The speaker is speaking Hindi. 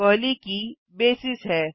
पहली की बेसिस है